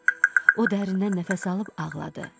O dərindən nəfəs alıb ağladı.